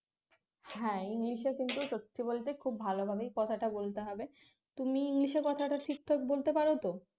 হ্যাঁ english এ কিন্তু সত্যি বলতে খুব ভালোভাবেই কথাটা বলতে হবে তুমি english কথাটা ঠিকঠাক বলতে পারো তো